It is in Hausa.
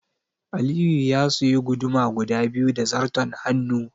Aliyu ya suyi guduma guda biyu da zarton hannu.